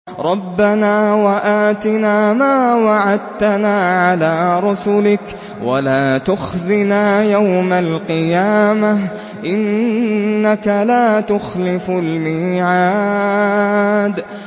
رَبَّنَا وَآتِنَا مَا وَعَدتَّنَا عَلَىٰ رُسُلِكَ وَلَا تُخْزِنَا يَوْمَ الْقِيَامَةِ ۗ إِنَّكَ لَا تُخْلِفُ الْمِيعَادَ